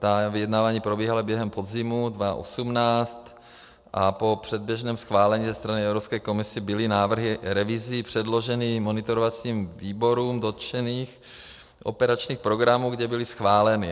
Ta vyjednávání probíhala během podzimu 2018 a po předběžném schválení ze strany Evropské komise byly návrhy revizí předloženy monitorovacím výborům dotčených operačních programů, kde byly schváleny.